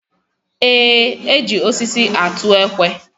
Eé, e ji osisi atụ ekwe.